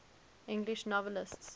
english novelists